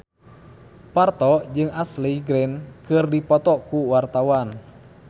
Parto jeung Ashley Greene keur dipoto ku wartawan